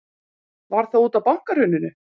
Var það útaf bankahruninu?